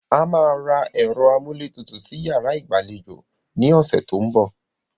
A máa ra ẹ̀rọ amúlétutù sí yàrá ìgbàlejò ní ọ̀sẹ̀ tó ń bọ̀